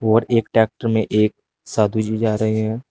और एक ट्रैक्टर में एक साधु जी जा रहे हैं।